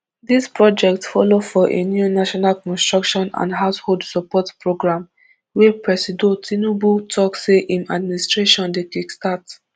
dis project follow for a new national construction and household support programme wey presido tinubu tok say im administration dey kickstart